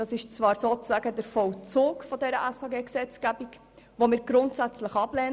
Zwar handelt es sich sozusagen um den Vollzug der SHG-Revision, welche wir grundsätzlich ablehnen.